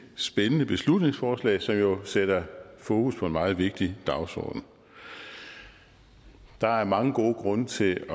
spændende beslutningsforslag som jo sætter fokus på en meget vigtig dagsorden der er mange gode grunde til